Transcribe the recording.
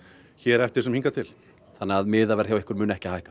hér eftir sem hingað til þannig að miðaverð hjá ykkur mun ekki hækka